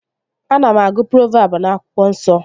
Ana m agụ provabụ n'akwụkwọ nsọ